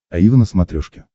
аива на смотрешке